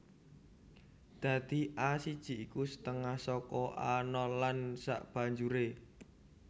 Dadi A siji iku setengah saka A nol lan sabanjuré